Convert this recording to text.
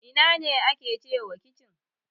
Ina ne ake cewa kicin?